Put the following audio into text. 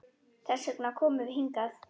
Þess vegna komum við hingað.